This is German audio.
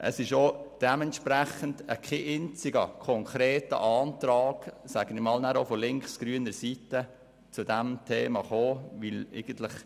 Es wurde entsprechend kein einziger konkreter Antrag von links-grüner Seite zu diesem Thema gestellt.